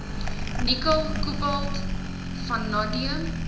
nikkel kobalt vanadium